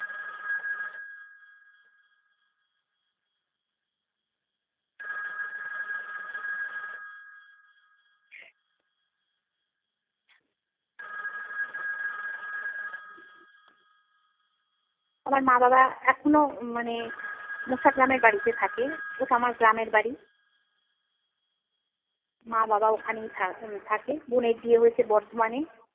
আমার মা বাবা এখনো মানে গ্রামের বাড়িতে থাকে, ওটা আমার গ্রামের বাড়ি। মা বাবা ওখানেই থা~ উম থাকে। বোনের বিয়ে হয়েছে বর্ধমানে।